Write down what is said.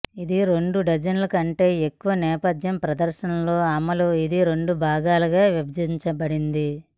ఇది రెండు డజన్ల కంటే ఎక్కువ నేపథ్య ప్రదర్శనలు అమలు ఇది రెండు భాగాలుగా విభజించబడింది